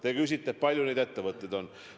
Siin küsiti, kui palju neid ettevõtteid on.